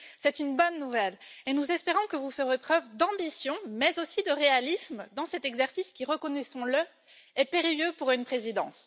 C'est une bonne nouvelle et nous espérons que vous ferez preuve d'ambition mais aussi de réalisme dans cet exercice qui, reconnaissons le, est périlleux pour une présidence.